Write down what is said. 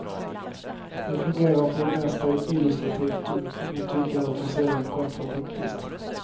Den fungerar för det mesta illustrativt och i mitt tycke alltför sällan kontrapunktiskt.